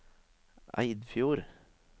Eidfjord